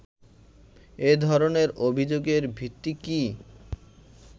এ ধরনের অভিযোগের ভিত্তি কী